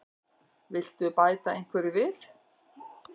Viltu bæta einhverju við?